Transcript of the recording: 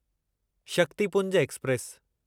Shaktipunj express